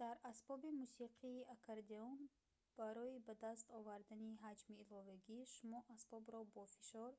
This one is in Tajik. дар асбоби мусиқии аккордеон барои ба даст овардани ҳаҷми иловагӣ шумо асбобро бо фишор